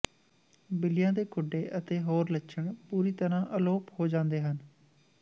ਬਿੱਲੀਆਂ ਦੇ ਖੁੱਡੇ ਅਤੇ ਹੋਰ ਲੱਛਣ ਪੂਰੀ ਤਰ੍ਹਾਂ ਅਲੋਪ ਹੋ ਜਾਂਦੇ ਹਨ